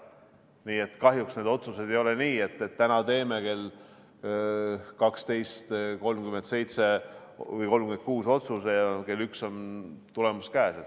Nii et kahjuks need otsused ei ole nii, et täna teeme kell 12.36 otsuse ja kell 13 on tulemus käes.